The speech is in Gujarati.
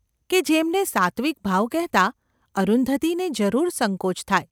કે જેમને સાત્ત્વિક ભાવ કહેતાં અરુંધતીને જરૂર સંકોચ થાય.